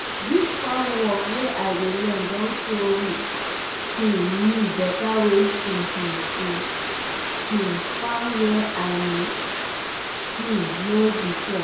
dis farm work wey i dey learn don show um me better ways to um to um farm wey i no um know before.